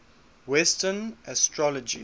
western astrology